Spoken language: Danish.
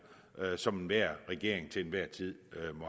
som enhver regering til enhver tid